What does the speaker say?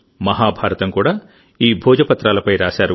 మహాభారతం కూడా ఈ భోజపత్రాలపై రాశారు